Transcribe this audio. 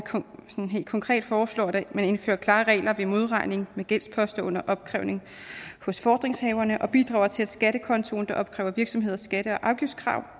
helt konkret foreslår at man indfører klare regler ved modregning med gældsposter under opkrævning hos fordringshaverne og bidrager til at skattekontoen der opkræver virksomheders skatte og afgiftskrav